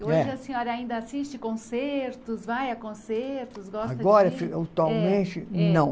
Hoje a senhora ainda assiste concertos, vai a concertos, gosta de... Agora, atualmente, não.